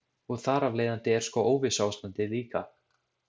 Og þar af leiðandi er sko óvissuástandið líka.